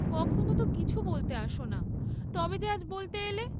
কখনো তো কিছু বলতে আস না, তবে যে আজ বলতে এলে?